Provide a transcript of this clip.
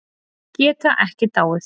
Geta ekki dáið.